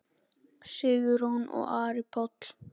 Sigrún og Ari Páll.